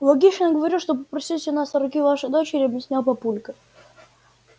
логично говорю что попросить у нас руки вашей дочери объяснял папулька